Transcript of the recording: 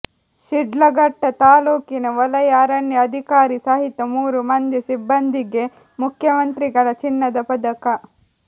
ಶಿಡ್ಲಘಟ್ಟ ತಾಲೂಕಿನ ವಲಯ ಅರಣ್ಯ ಅಧಿಕಾರಿ ಸಹಿತ ಮೂರು ಮಂದಿ ಸಿಬ್ಬಂದಿಗೆ ಮುಖ್ಯಮಂತ್ರಿಗಳ ಚಿನ್ನದ ಪದಕ